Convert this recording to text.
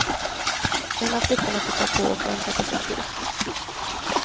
En av flickorna tittar på och väntar på sin tur.